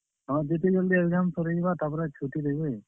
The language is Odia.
ହଁ, ଯେତେ ଜଲ୍ ଦି exam ସରିଯିବା ତାର୍ ପରେ ଛୁଟି ଦେବେ।